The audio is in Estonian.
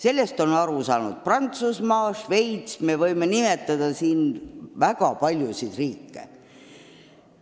Sellest on aru saanud Prantsusmaa, Šveits ja me võime siin nimetada veel väga paljusid riike.